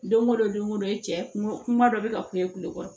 Don o don don o don i cɛ kungo kuma dɔ bɛ ka k'u ye kulo kɔrɔ